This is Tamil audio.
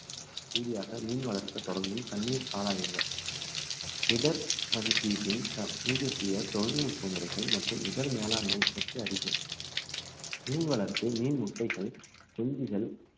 இறுதியாக மீன் வளர்க்க தொடங்கும் தண்ணீர் ஆராயுங்கள் இடர் மதிப்பீட்டில் தப்~ தீபெத்திய தொழில்நுட்ப முறைகள் மற்றும் இடர் மேலாண்மை பற்றி அறிக மீன் வளர்ப்பு மீன் முட்டைகள் குஞ்சுகள்